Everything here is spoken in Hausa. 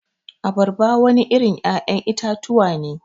Abarba wani irin ya'yan itatuwa ne.